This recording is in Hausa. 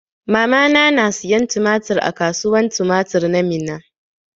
Mamana na siyan tumatir a kasuwan tumatir ta Minna.